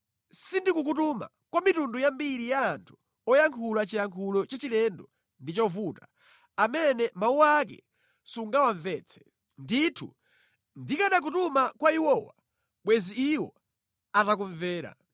Sindikukutuma kwa mitundu yambiri ya anthu oyankhula chiyankhulo chachilendo ndi chovuta, amene mawu ake sungawamvetse. Ndithu ndikanakutuma kwa iwowa, bwenzi iwo atakumvera.